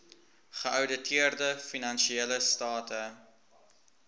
geouditeerde finansiële state